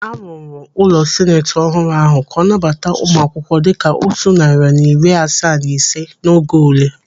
Arụrụ ụlọ seneti ọhụrụ ahụ ka ọ nabata ụmụ akwụkwọ dịka otu narị na iri asaa na ise n'oge ule.